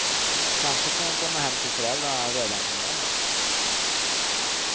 Kanske får hon komma hem till föräldrarna redan på måndag.